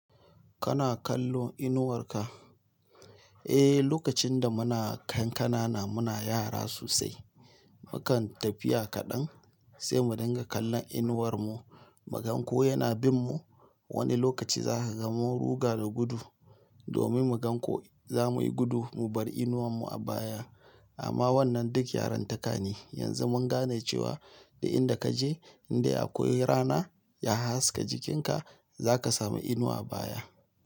Kana kallo inuwar ka? Eh, lokacin da muna kan kana na muna yara sosai. Mukan tafiya kaɗan sai mu dinga kallon inuwar mu. Mu gan ko yana bin mu. Wani lokaci za ka ga mun ruga da gudu domin mu gan ko za muyi gudu mu bar inuwar mu a baya. Amma wannan duk yaranta ka ne. Yanzu mun gane cewa duk in da kaje in dai akwai rana ya haska jikin ka, za ka samu inuwa a baya.